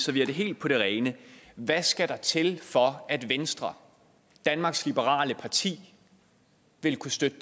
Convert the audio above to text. vi har det helt på det rene hvad skal der til for at venstre danmarks liberale parti vil kunne støtte